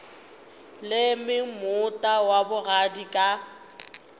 leme moota wa bogadi ka